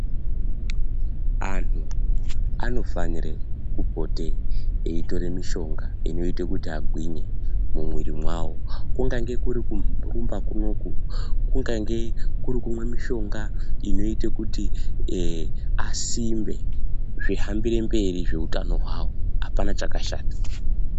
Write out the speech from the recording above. Anhu anofanire kupote eitore mishonga inoite kuti agwinye mumwiiri mwavo. Kungange kuri kurumba kunoku, kungange kuri kumwe mishonga inoite kuti asimbe, zvihambire mberi zveupenyu hwavo. Hapana chakashata.